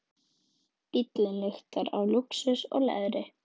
Bíllinn lyktar af lúxus og leðri.